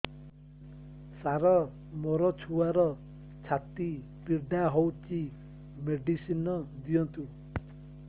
ସାର ମୋର ଛୁଆର ଛାତି ପୀଡା ହଉଚି ମେଡିସିନ ଦିଅନ୍ତୁ